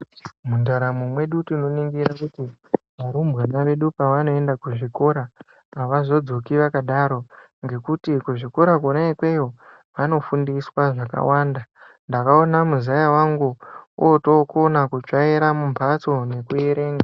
Mundaramo mwedu tinoningira kuti arumbwana edu panoenda kuzvikora avazodzoki vakadaro ngekuti kuzvikora Kona ikweyo vanofundiswa zvakawanda. Ndakaona muzaya wangu otokona kutsvaira mumbatso nekuerenga.